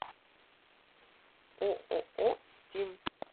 ооо стим